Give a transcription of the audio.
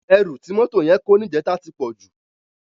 Èrú ti mótó yèn kó nijètá ti pòjú